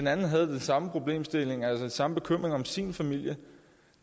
anden havde den samme problemstilling nemlig den samme bekymring om sin familie